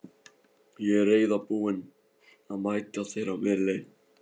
Ég er reiðubúinn að mæta þér á miðri leið.